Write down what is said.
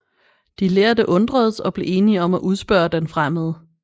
De lærde undredes og blev enige om at udspørge den fremmede